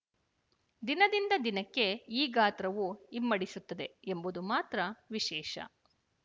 ದಿನದಿಂದ ದಿನಕ್ಕೆ ಈ ಗಾತ್ರವು ಇಮ್ಮಡಿಸುತ್ತದೆ ಎಂಬುದು ಮಾತ್ರ ವಿಶೇಶ